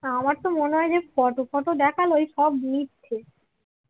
আমার তো মনে হয় যে ফটো ফটো দেখালো ওইসব মিথ্য